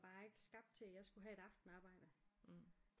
Bare ikke skabt til at jeg skulle have et aftenarbejde